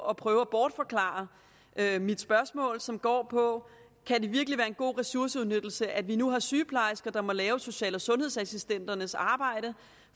at prøve at bortforklare mit spørgsmål som går på kan det virkelig være en god ressourceudnyttelse at vi nu har sygeplejersker der må lave social og sundhedsassistenternes arbejde